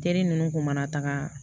Teri ninnu kun mana taaga